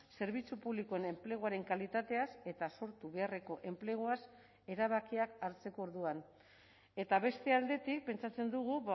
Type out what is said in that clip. zerbitzu publikoen enpleguaren kalitateaz eta sortu beharreko enpleguaz erabakiak hartzeko orduan eta beste aldetik pentsatzen dugu